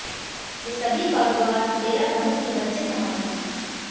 ये सभी कारोबार डेरा प्रमुख के बच्चे संभालते हैं